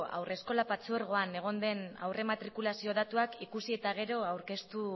haurreskolak partzuergoan egon den aurre matrikulazio datuak ikusi eta gero